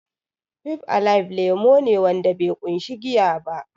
Fib alaib lemo ne wanda be ƙunshi giya ba